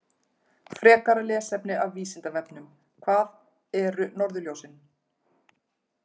Frekara lesefni af Vísindavefnum: Hvað eru norðurljósin?